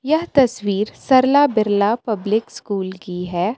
यह तस्वीर Sarla Birla public school की हे.